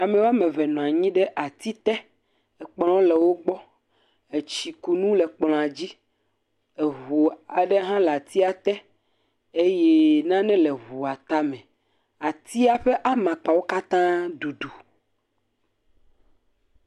Ame wɔme eve nɔ anyi ɖe atite. Ekplɔ le wo gbɔ. Etsikunu le kplɔa dzi. Eŋu aɖe hã le atia te eye nane le eŋua tame. Atia ƒe amakpawo katã dudu.